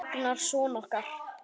Og Ragnar son okkar.